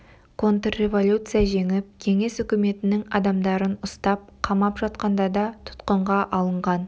контрреволюция жеңіп кеңес үкіметінің адамдарын ұстап қамап жатқанда да тұтқынға алынған